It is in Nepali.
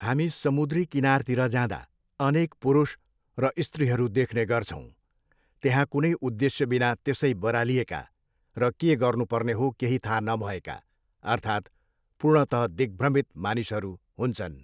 हामी समुद्री किनारतिर जाँदा अनेक पुरुष र स्त्रीहरू देख्ने गछौँ, त्यहाँ कुनै उद्देश्यबिना त्यसै बरालिएका र के गर्नुपर्ने हो केही थाहा नभएका अर्थात् पूर्णतः दिग्भ्रमित मानिसहरू हुन्छन्।